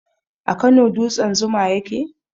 A Kano dutsen zuma ya ke?